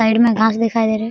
Side में घास दिखाई दे रही है।